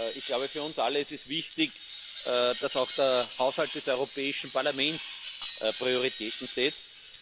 Ich glaube, für uns alle ist es wichtig, dass auch der Haushalt des Europäischen Parlaments Prioritäten setzt.